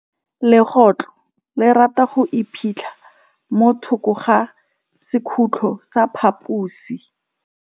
Legôtlô le rata go iphitlha mo thokô ga sekhutlo sa phaposi.